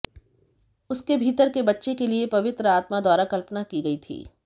उसके भीतर के बच्चे के लिए पवित्र आत्मा द्वारा कल्पना की गई थी